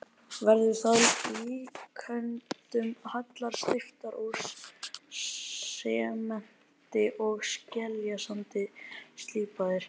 Verður það að líkindum hellur steyptar úr sementi og skeljasandi, slípaðar.